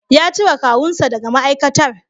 Ya cire kawunsa daga ma'aikatar.